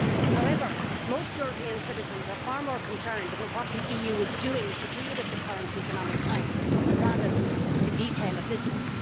However, most European citizens are far more concerned about what the EU is doing to deal with the current economic crisis rather than the detail of Lisbon.